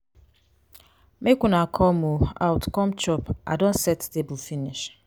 make una come um out come chop i don set the table finish.